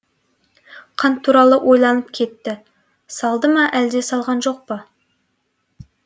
қант туралы ойланып кетті салды ма әлде салған жоқпа